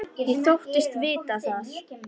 Ég þóttist vita það.